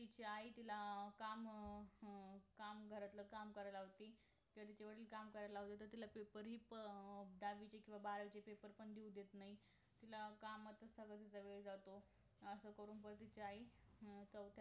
तिझी आई तिला काम अं काम घरातील काम करायला लावते तर तुझे वडील तिला काम करायला लावतात तिला paper हि प दहावीचे किंवा बारावीचे paper हि देऊ देत नाहीत त्या कामातच तिझा सगळं वेळ जातो असं करून परत तुझी आई हम्म